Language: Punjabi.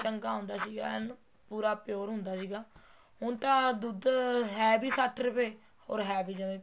ਚੰਗਾ ਹੁੰਦਾ ਸੀ ਏਂ ਪੂਰਾ pure ਹੁੰਦਾ ਸੀਗਾ ਹੁਣ ਤਾਂ ਦੁੱਧ ਹੈ ਵੀ ਸੱਠ ਰੂਪਏ or ਹੈ ਵੀ ਜਮੀ